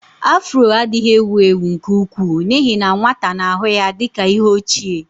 Afro adịghị ewu ewu nke ukwuu n'ihi na nwata na-ahụ ya dị ka ihe ochie.